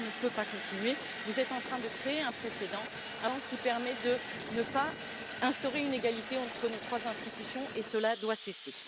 Cela ne peut pas continuer vous êtes en train de créer un précédent qui permet de ne pas instaurer une égalité entre nos trois institutions, et cela doit cesser.